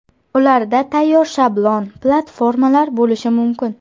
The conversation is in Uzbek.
Ularda tayyor shablon platformalar bo‘lishi mumkin.